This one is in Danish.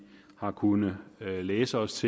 har kunnet læse os